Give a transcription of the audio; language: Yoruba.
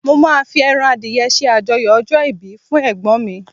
mo ma fi eran adìye se ajoyọ ọjọ ibi fún egbon mi